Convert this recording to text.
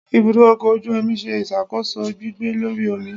Ibudọ ọkọ ojú omí sẹ isakoso gbigbẹ́ Lorí omí